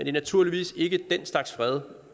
er naturligvis ikke den slags fred